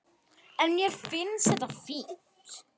En mér finnst þetta fínt.